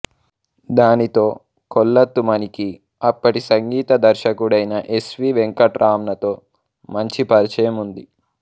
దానితో కొళత్తుమణికి అప్పటి సంగీత దర్శకుడైన ఎస్ వి వెంకట్రామన్తో మంచి పరిచయం ఉంది